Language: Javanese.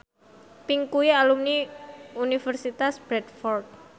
Pink kuwi alumni Universitas Bradford